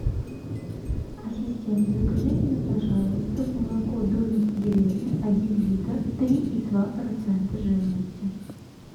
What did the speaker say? ассистент закажи мне пожалуйста молоко домик в деревне один литр три и два процента жирности